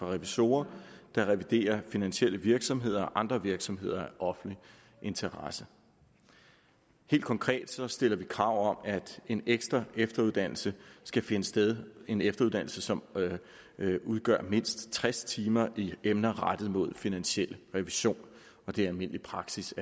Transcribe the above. revisorer der reviderer finansielle virksomheder og andre virksomheder af offentlig interesse helt konkret stiller vi krav om at en ekstra efteruddannelse skal finde sted en efteruddannelse som udgør mindst tres timer i emner rettet mod finansiel revision det er almindelig praksis